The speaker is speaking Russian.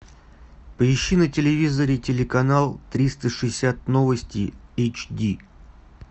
поищи на телевизоре телеканал триста шестьдесят новости эйч ди